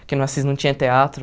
Porque no Assis não tinha teatro.